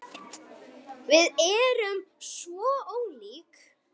Við erum svo ólík.